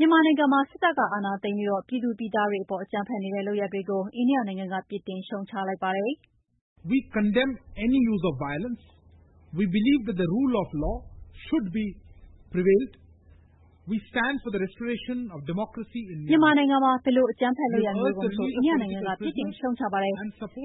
မြန်မာနိုင်ငံမှာ စစ်တပ်ကအာဏာသိမ်းပြီး ပြည်သူပြည်သားတွေအပေါ် အကြမ်းဖက်နေတဲ့လုပ်ရပ်တွေကို အိန္ဒိယနိုင်ငံက ပြစ်တင်ရှုတ်ချလိုက်ပါတယ်။ "မြန်မာနိုင်ငံမှာ ဘယ်လို အကြမ်းဖက်လုပ်ရပ်မျိုးကိုမဆို အိန္ဒိယနိုင်ငံက ပြစ်တင်ရှုတ်ချပါတယ်။